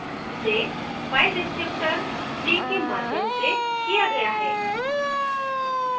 इसे file descriptor 3 के माध्यम से किया गया है